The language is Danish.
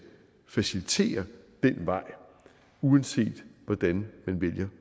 facilitere den vej uanset hvordan man vælger